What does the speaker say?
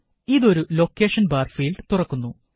ഇത് ഒരു location bar field തുറക്കുന്നു